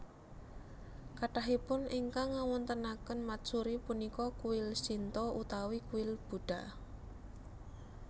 Kathahipun ingkang ngawontenaken matsuri punika kuil Shinto utawi kuil Buddha